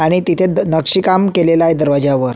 आणि तेथे नक्षीकाम केलेल आहे दरवाजावर.